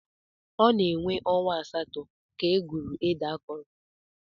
Ọ na-ewe ọnwa asatọ ka e gwuru ede akọrọ.